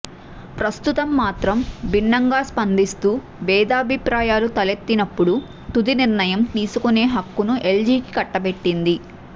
ప్రస్తుతం మాత్రం భిన్నంగా స్పందిస్తూ భేదాభిప్రాయాలు తలెత్తినప్పుడు తుది నిర్ణయం తీసుకునే హక్కును ఎల్జీకి కట్టబెట్టింది